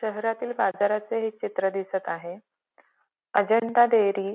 शहरातील बाजाराचे हे चित्र दिसत आहे अजंता डेअरी --